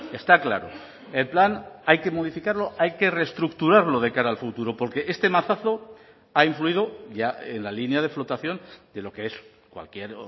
está claro el plan hay que modificarlo hay que reestructurarlo de cara al futuro porque este mazazo ha influido ya en la línea de flotación de lo que es cualquier